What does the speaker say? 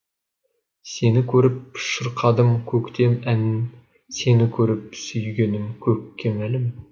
сені көріп шырқадым көктем әнін сені көріп сүйгенім көкке мәлім